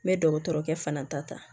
N bɛ dɔgɔtɔrɔkɛ fana ta ta